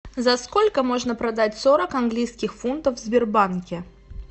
за сколько можно продать сорок английских фунтов в сбербанке